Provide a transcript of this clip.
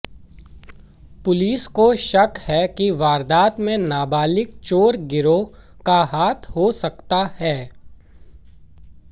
police को शक है कि वारदात में नाबालिग चोर गिरोह का हाथ हो सकता है